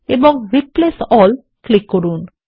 এখন replace all click করুন